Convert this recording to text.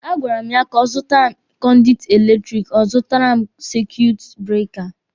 A gwara m ya ka ọ zụtara m kọnditi eletiriki, ọ zụtara m saikuitu breeka.